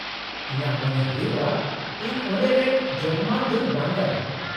-ᱤᱧᱟᱹᱜ ᱢᱚᱱᱮ ᱦᱩᱭᱩᱜᱼᱟ ᱤᱧ ᱚᱸᱰᱮ ᱨᱮᱱ ᱡᱳᱜᱢᱟᱱ ᱫᱚᱧ ᱵᱟᱝ ᱠᱟᱱᱟ ᱾